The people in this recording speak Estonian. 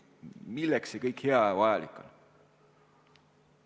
Milleks see kõik hea ja vajalik on?